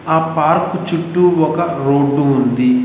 ఆ పార్క్ చుట్టూ ఒక రోడ్డు ఉంది.